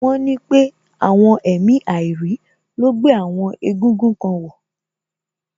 Wọ́n ní pé àwọn èmi àìrí ló gbé àwọn egúngún kan wọ̀